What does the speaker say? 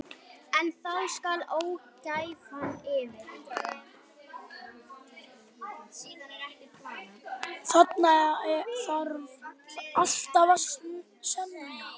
Þarna þarf alltaf að semja.